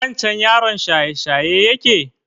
Wancen yaron shayeshaye yake?